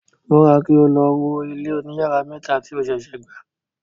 Múra, kí o lo wo ilé oní yàrá mẹ́ta tí a sèsè gbà!